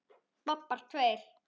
Bobbar tveir.